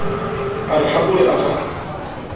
a re habore a sa